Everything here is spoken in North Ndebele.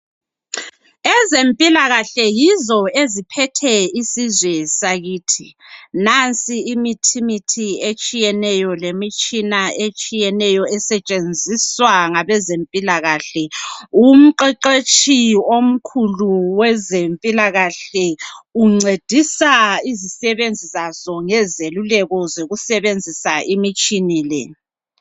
Ezempilakahle yizo eziphethe isizwe sakithi. Nansi imithimithi etshiyeneyo lemitshina etshiyeneyo esetshenziswa ngabezempilakahle. Umqeqetshi omkhulu wezempilakahle uncedisa izisebenzi zaso ngezeluleko zokusebenzisa imitshina le.